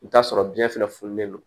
I bi t'a sɔrɔ biyɛn fɛnɛ fununen don